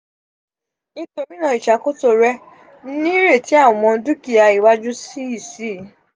nitori naa iṣakoso rẹ nireti awọn dukia iwaju si si